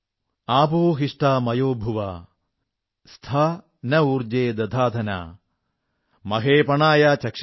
ആപോ ഹിഷ്ഠാ മയോ ഭുവഃ സ്ഥാ ന ഊർജേ ദധാതന മഹേ പണായ ചക്ഷസേ